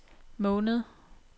måned